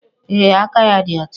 Ee, aka ya dị ọcha